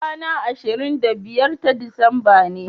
kwana ashirin da biyar ta disamba ne